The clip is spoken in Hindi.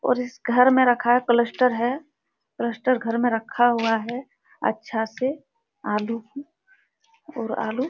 और इस घर में रखा है क्लस्टर है क्लस्टर घर मे रखा हुआ है अच्छा से आलू और आलू --